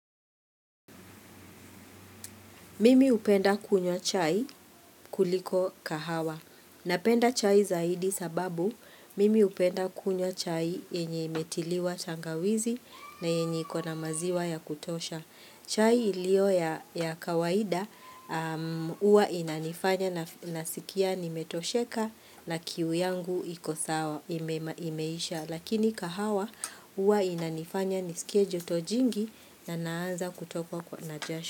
Mimi hupenda kunywa chai kuliko kahawa. Napenda chai zaidi sababu mimi hupenda kunywa chai yenye imetiliwa tangawizi na yenye iko na maziwa ya kutosha. Chai ilio ya kawaida huwa inanifanya nasikia nimetosheka na kiu yangu imeisha. Lakini kahawa huwa inanifanya nisikie joto jingi na naanza kutokwa na jasho.